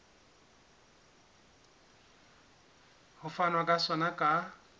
ho fanwa ka sona ka